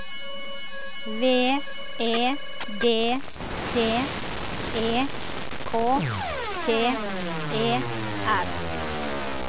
V E D T E K T E R